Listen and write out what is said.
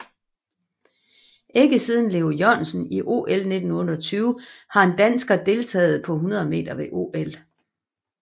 Ikke siden Leo Jørgensen i OL 1928 har en dansker deltaget på 100 meter ved OL